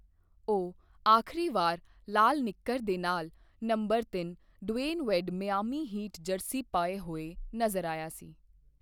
ਉਹ ਆਖਰੀ ਵਾਰ ਲਾਲ ਨਿੱਕਰ ਦੇ ਨਾਲ ਨੰਬਰ ਤਿੰਨ Dwyane Wade Miami Heat jersey ਪਹਿਨੇ ਹੋਏ ਨਜ਼ਰ ਆਇਆ ਸੀ।